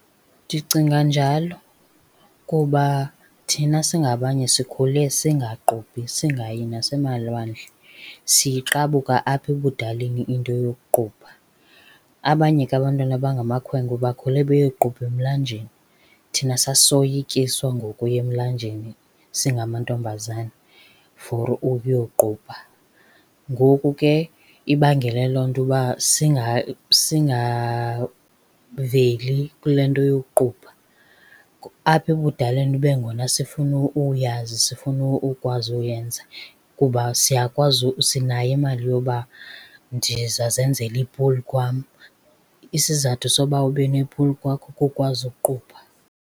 Ndicinga njalo kuba thina singabanye sikhule singaqubhi, singayi nasemalwandle. Siyiqabuka apha ebudaleni into yokuqubha. Abanye ke abantwana abangamakhwenkwe bakhule beyoqubha emilanjeni. Thina sasiyoyikiswa ngokuya emlanjeni singamantombazana for ukuyoqubha, ngoku ke ibangele loo nto uba singaveli kule nto yokuqubha. Apha ebudaleni kube ngona sifuna uyazi, sifuna ukwazi uyenza kuba siyakwazi sinayo imali yoba ndiza zenzela ipuli kwam. Isizathu soba ube nepuli kwakho kukwazi uqubha.